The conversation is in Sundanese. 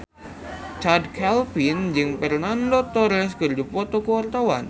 Chand Kelvin jeung Fernando Torres keur dipoto ku wartawan